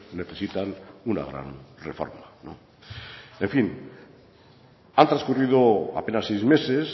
necesitan una gran reforma en fin han transcurrido apenas seis meses